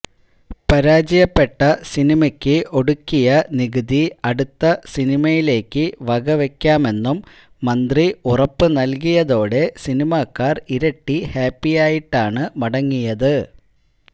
പരാജയപ്പെട്ട സിനിമയ്ക്ക് ഒടുക്കിയ നികുതി അടുത്ത സിനിമയിലേക്ക് വകവയ്ക്കാമെന്നും മന്ത്രി ഉറപ്പുനൽകിയതോടെ സിനിമാക്കാർ ഇരട്ടി ഹാപ്പിയായിട്ടാണ് മടങ്ങിയത്